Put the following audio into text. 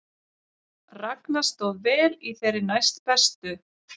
Ragna stóð vel í þeirri næstbestu